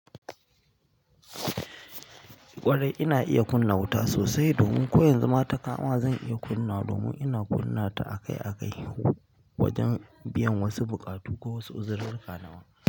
Ƙwarai, ina iya kunna wuta sosai, domin ko yanzuma ta kama zan iya kunnawa domin ina kunnata akai akai wajen biyan wasu buƙatu ko wasu uzururruma.